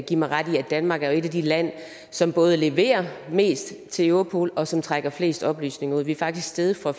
give mig ret i at danmark er et af de lande som både leverer mest til europol og som trækker flest oplysninger ud vi er faktisk steget fra